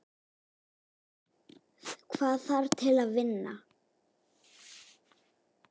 Hvað þarf til að vinna?